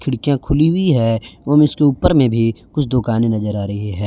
खिड़कियां खुलीं हुई है एवं इसके ऊपर में भी कुछ दुकानें नजर आ रहीं है।